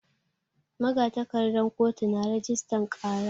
Magatakardan kotu na rajistan ƙara.